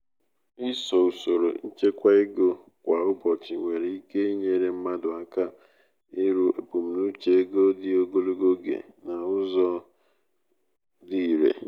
ịso usoro ịchekwa ego kwa ụbọchị nwere ike inyere mmadụ aka iru ebumnuche ego dị ogologo oge n'ụzọ n'ụzọ dị irè.